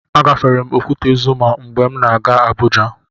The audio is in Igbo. Agafere m Okwute Zuma mgbe m na-aga Abuja.